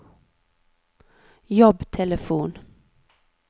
jobbtelefon